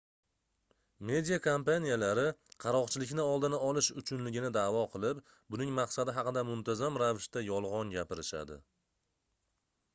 media kompaniyalari qaroqchilikni oldini olish uchunligini daʼvo qilib buning maqsadi haqida muntazam ravishda yolgʻon gapirishadi